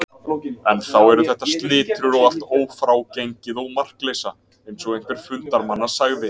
Enn þá eru þetta slitrur og allt ófrágengið og markleysa, eins og einhver fundarmanna sagði.